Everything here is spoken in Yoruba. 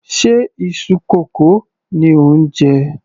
Ṣe iṣu kókò ni ò ń jẹ?